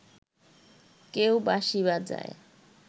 কেউ বাঁশি বাজায়